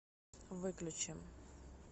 выключи